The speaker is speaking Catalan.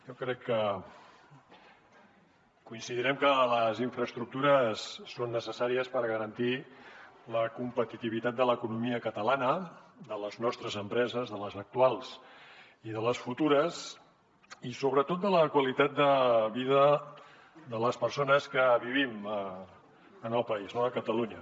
jo crec que coincidirem que les infraestructures són necessàries per garantir la competitivitat de l’economia catalana de les nostres empreses de les actuals i de les futures i sobretot de la qualitat de vida de les persones que vivim al país a catalunya